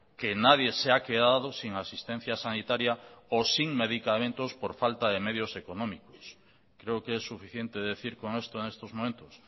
que nadie se ha quedado sin asistencia sanitaria o sin medicamentos por falta de medios económicos creo que es suficiente decir con esto en estos momentos